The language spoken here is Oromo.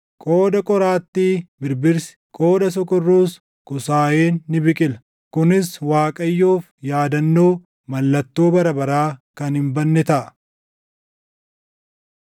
Qooda qoraattii birbirsi, qooda sokorruus kusaayeen ni biqila. Kunis Waaqayyoof yaadannoo, mallattoo bara baraa kan hin badne taʼa.”